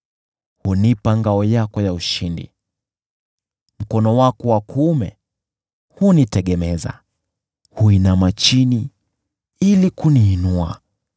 Hunipa ngao yako ya ushindi, nao mkono wako wa kuume hunitegemeza, unajishusha chini ili kuniinua.